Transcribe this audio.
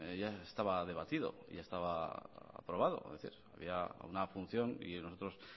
ya estaba debatido ya estaba aprobado había una punción y nosotros